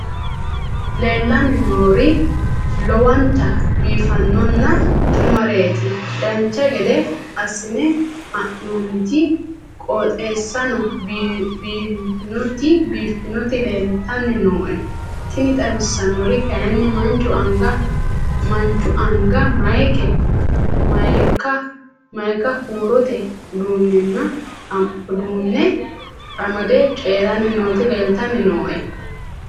leellanni nooeri lowonta biiffinonna xumareeti dancha gede assine haa'noonniti qooxeessano biiffinoti leeltanni nooe tini xawissannori kayi manchu anga mayika huurote uduunne amade coyranni nooti leeltanni nooe